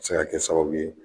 Se ka kɛ sababu ye